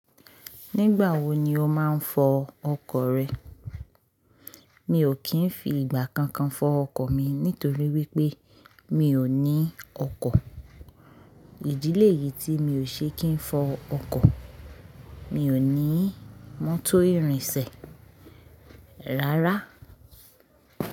Nígbà wo ni o máa ń fọ ọkọ̀ rẹ? Mi ò kì ń fi ìgbà kankan fọ ọkọ̀ mi nítorí wípé mi ò ní ọkọ̀. Ìdílé yìí tí mi ò ṣe kí ń fọ ọkọ̀, mi ò ní mọ́tò irinṣẹ́ rárá.